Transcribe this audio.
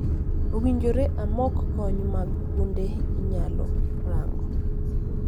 Owinjore amok kony mag kuonde inyalo rango